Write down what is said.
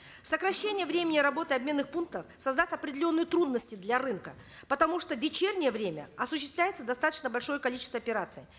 сокращение времени работы обменных пунктов создаст определенные трудности для рынка потому что в вечернее время осуществляется достаточно большое количество операций